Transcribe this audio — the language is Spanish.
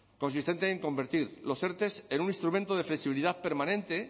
consistente en convertir los erte en un instrumento de flexibilidad permanente